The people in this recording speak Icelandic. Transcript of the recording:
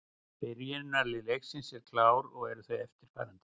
Byrjunarlið leiksins eru klár og eru þau eftirfarandi: